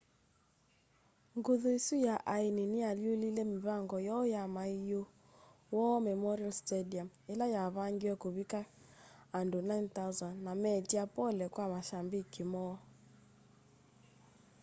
nguthu isu ya aini niyaalyũlile mivango yoo ya maiu war memorial stadium ila yavangiwe kuvika andũ 9,000 na meetya pole kwa mashambiki moo